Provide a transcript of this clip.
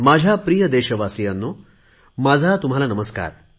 माझ्या प्रिय देशवासीयांनो माझा तुम्हाला नमस्कार